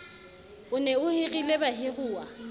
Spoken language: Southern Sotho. o ne o hirile bahiruwa